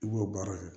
I b'o baara kɛ